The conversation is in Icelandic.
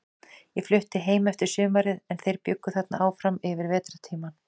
Ég flutti heim eftir sumarið, en þeir bjuggu þarna áfram yfir vetrartímann.